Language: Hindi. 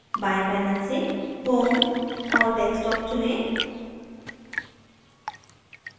बाएं panel से home और desktop चुनें